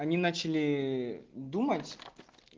они начали думать